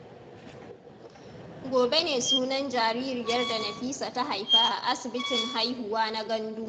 Gobe ne sunan jaririyar da Nafisa ta haifa a asibitin haihuwa na Gandu.